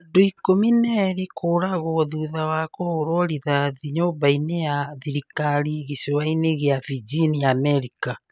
Andũ ikũmi na erĩ kũragwo thutha wa kũhũrwo rithathi nyũmba-inĩ ya thirikari gicũa-inĩ gĩa Virginia, Amerika.